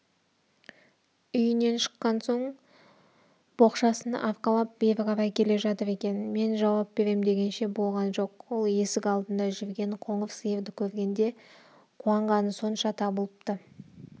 үйінен шыққан боқшасын арқалап бері қарай келе жатыр екен мен жауап берем дегенше болған жоқ ол есік алдында жүрген қоңыр сиырды көргенде қуанғаны сонша табылыпты